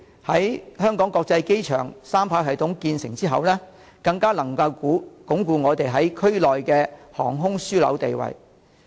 香港國際機場三跑系統在2024年建成之後，更能鞏固本港在區內的航空樞紐地位。